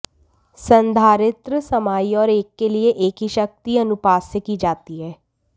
संधारित्र समाई और एक के लिए एक की शक्ति अनुपात से की जाती है